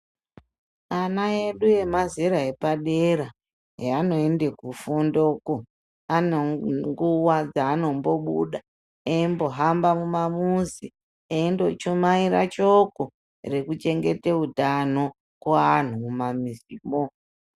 Ana edu emazera epadera eanoende kufundoko anenguwa dzaanombobuda eimbohamba mumamuzi eindochumaire shoko rekuchengete utano kuanhu mumamizimwo.